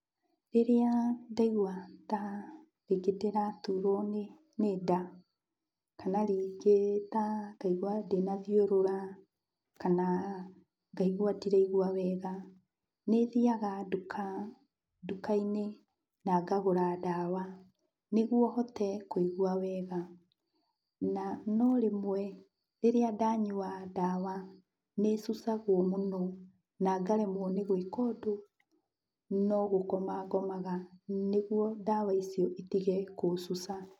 Rĩrĩa ndaigua ta rĩngĩ ndĩraturwo nĩ, nĩ nda, kana rĩngĩ ta ngaigua ndĩna thiũrũra kana ngaigua ndiraigua wega, nĩthiaga nduka nduka-inĩ na ngagũra ndawa nĩguo hote kũigua wega. Noa no rĩmwe rĩrĩa ndanyua ndawa, nĩcucagwo mũno, na ngaremwo nĩ gwĩka ũndũ no gũkoma ngomaga, nĩguo ndawa icio itige kũcuca.